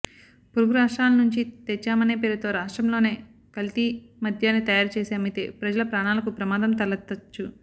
పొరుగు రాష్ట్రాల నుంచి తెచ్చామనే పేరుతో రాష్ట్రంలోనే కల్తీ మద్యాన్ని తయారుచేసి అమ్మితే ప్రజల ప్రాణాలకు ప్రమాదం తలెత్తవచ్చు